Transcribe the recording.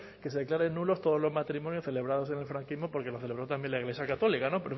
que se declaren nulos todos los matrimonios celebrados en el franquismo porque los celebró también la iglesia católica pero